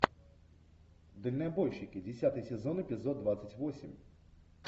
дальнобойщики десятый сезон эпизод двадцать восемь